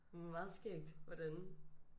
Meget skægt hvordan